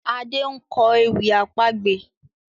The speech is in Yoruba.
Ade nkọ ewì àpagbè.